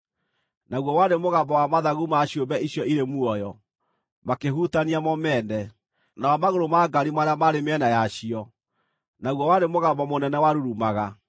Naguo warĩ mũgambo wa mathagu ma ciũmbe icio irĩ muoyo makĩhutania mo mene, na wa magũrũ ma ngaari marĩa maarĩ mĩena yacio, naguo warĩ mũgambo mũnene warurumaga.